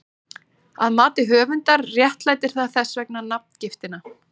Að mati höfundar réttlætir það þess vegna nafngiftina.